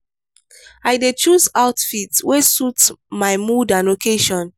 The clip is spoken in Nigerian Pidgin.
i dey choose outfit wey suit my mood and occasion.